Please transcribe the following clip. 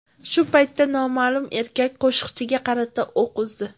Shu paytda noma’lum erkak qo‘shiqchiga qarata o‘q uzdi.